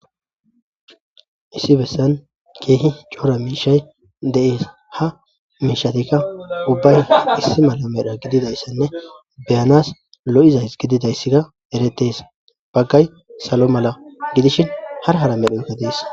issi bessan keehi cora miishay de7es ha miishatikka ubbay issi mala medha gididayssenne be7anas lo7izays gididayssika erettees baggay salo mala gidishin hara hara medhoykka dees.